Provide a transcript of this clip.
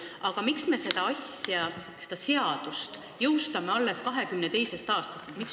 Aga miks me tahame, et seadus jõustub alles 1922. aastal?